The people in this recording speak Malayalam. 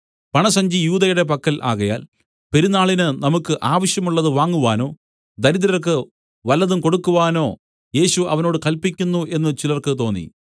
പണസഞ്ചി യൂദയുടെ പക്കൽ ആകയാൽ പെരുന്നാളിന് നമുക്ക് ആവശ്യമുള്ളതു വാങ്ങുവാനോ ദരിദ്രർക്ക് വല്ലതും കൊടുക്കുവാനോ യേശു അവനോട് കല്പിക്കുന്നു എന്നു ചിലർക്കു തോന്നി